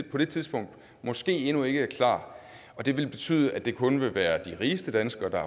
på det tidspunkt måske endnu ikke er klar og det vil betyde at det kun vil være de rigeste danskere der